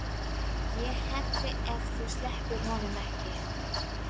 ÉG HELLI EF ÞÚ SLEPPIR HONUM EKKI!